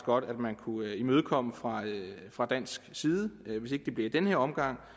godt at man kunne imødekomme fra fra dansk side og hvis ikke det bliver i den her omgang